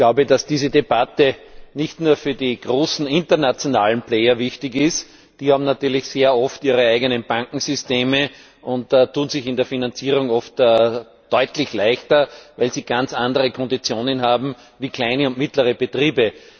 Ich glaube, dass diese Debatte nicht nur für die großen internationalen Akteure wichtig ist. Die haben natürlich sehr oft ihre eigenen Bankensysteme und tun sich in der Finanzierung oft deutlich leichter, weil sie ganz andere Konditionen haben als kleine und mittlere Betriebe.